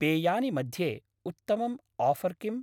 पेयानि मध्ये उत्तमम् आफर् किम्?